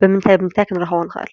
ብምንታይ ብምንታይ ኽንረኽቦ ንኽአል?